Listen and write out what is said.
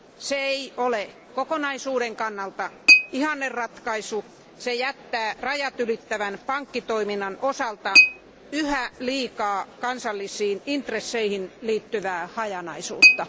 Se ei ole kokonaisuuden kannalta ihanneratkaisu, se jättää rajatylittävän pankkitoiminnan osalta yhä liikaa kansallisiin intresseihin liittyvää hajanaisuutta.